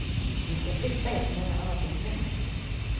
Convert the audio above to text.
Vi ska flytta er från den här avdelningen.